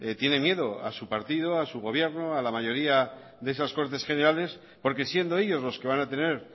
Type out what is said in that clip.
tiene miedo a su partido a su gobierno a la mayoría de esas cortes generales porque siendo ellos los que van a tener